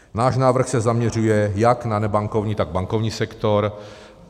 Náš návrh se zaměřuje jak na nebankovní, tak bankovní sektor.